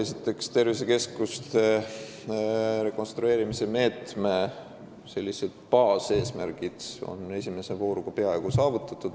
Esiteks, tervisekeskuste rekonstrueerimise meetme baaseesmärgid on esimese vooruga peaaegu saavutatud.